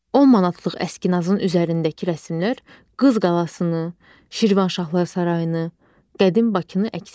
10 manatlıq əskinasın üzərindəki rəsmlər Qız qalasını, Şirvanşahlar sarayını, qədim Bakını əks etdirir.